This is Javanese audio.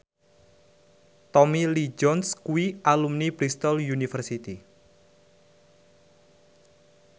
Tommy Lee Jones kuwi alumni Bristol university